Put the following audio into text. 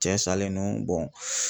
Cɛ salen don